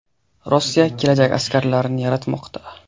Rossiya kelajak askarlarini yaratmoqda.